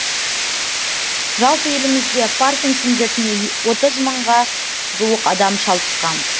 жалпы елімізде паркинсон дертіне отыз мыңға жуық адам шалдыққан